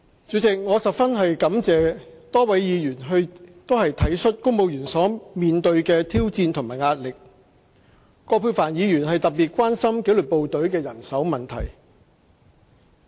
主席，我十分感謝多位議員體恤公務員所面對的挑戰和壓力，葛珮帆議員更特別關心紀律部隊的人手問題。